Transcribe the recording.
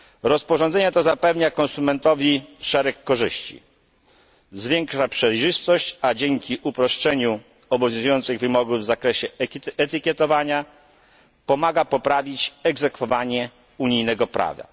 Rozporządzenie to zapewnia konsumentowi szereg korzyści zwiększa przejrzystość, a dzięki uproszczeniu obowiązujących wymogów w zakresie etykietowania, pomaga poprawić egzekwowanie unijnego prawa.